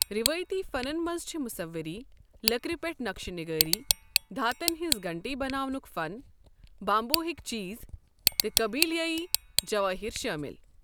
ریواتی فنن منز چھِ مُصوِری ، لٔكِرِ پیٹھ نقشہِ نِگٲری، دھاتن ہنزٕ گھنٹی بناونٗك فن ، بامبوہكۍ چیز تہٕ قبیلٲیی جوٲہِر شٲمِل ۔